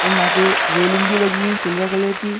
और यहाँ पे रेलिंग भी लगी है सिल्वर कलर की --